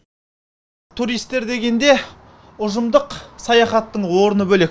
туристер дегенде ұжымдық саяхаттың орны бөлек